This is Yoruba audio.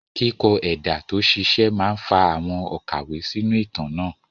Kíkọ ẹ̀dà tó ṣiṣẹ́ máa ń fa àwọn òkàwé sínú ìtàn náà.